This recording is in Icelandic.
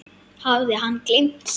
Hafði hann gleymt sér?